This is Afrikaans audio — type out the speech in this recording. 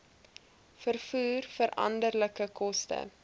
vervoer veranderlike koste